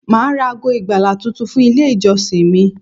Màá ra ago ìgbàlà tuntun fún Ilé ìjọsìn mi